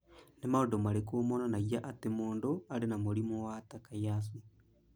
Nĩ maũndũ marĩkũ monanagia atĩ mũndũ arĩ na mũrimũ wa Takayasu?